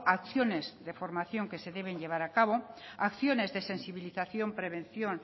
acciones de formación que se deben llevar a cabo acciones de sensibilización prevención